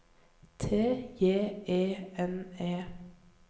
T J E N E